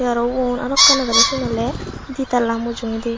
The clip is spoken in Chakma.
te aro ubon aro ekkan aagedey siyen oley ditala mujungedi.